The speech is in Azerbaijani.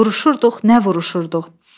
Vuruşurduq, nə vuruşurduq?